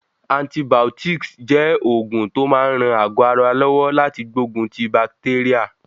Antibiotics jẹ́ oògùn tó máa ń ran àgọ́ ara lọ́wọ́ láti gbógun ti bakitérà.